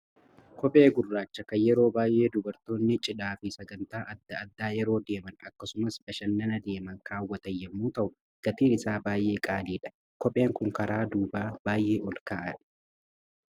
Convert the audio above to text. Koophee gurraacha kan yeroo baay'ee dubartoonni cidhaa fi sagantaa adda addaa yeroo deeman, akkasumas bashannana deeman kaawwatan yommuu ta'u, gatiin isaa baay'ee qaaliidha. Kopheen Kun karaa duubaa baay'ee ol ka'aadha.